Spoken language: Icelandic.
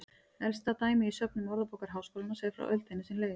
Elsta dæmi í söfnum Orðabókar Háskólans er frá öldinni sem leið.